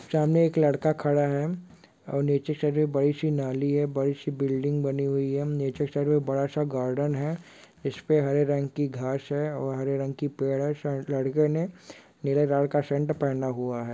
सामने एक लड़का खड़ा है और नीचे साइड में एक बड़ी-सी नाली है बड़ी-सी बिल्डिंग बनी हुई हैं| नीचे साइड में बड़ा -सा गार्डन है इसपे हरे रंग की घांस हैं और हरे रंग की पेड़ हैं| शायद लड़के ने नीले कलर का शर्ट पहना हुआ है।